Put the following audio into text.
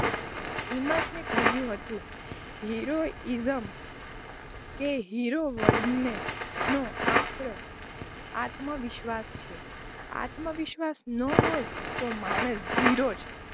હિમર્શ એ કહ્યું હતું હીરો હિજમ કે હીરો વનનો આક્ર આત્મવિશ્વાસ છે આત્મવિશ્વાસ ન હોય તો માણસ જીરો છે.